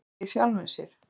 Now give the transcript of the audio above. Maður kveikti í sjálfum sér